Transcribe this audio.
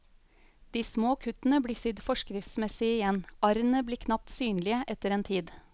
De små kuttene blir sydd forskriftsmessig igjen, arrene blir knapt synlige etter en tid.